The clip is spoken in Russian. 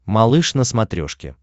малыш на смотрешке